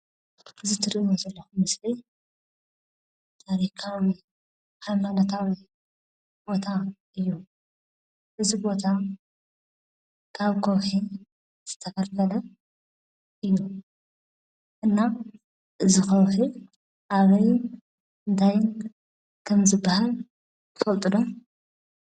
እዚ ትሪእዎ ዘለኹም ምስሊ ናይ ኣበይ ከባቢ ሃይማኖታዊ ቦታ እዩ? እዚ ቦታ ካብ ከውሒ ዝተፈልፈለ እዩ፡፡ እና እዚ ከውሒ ኣበይን እንታይን ከምዝበሃል ትፈልጡ ዶ?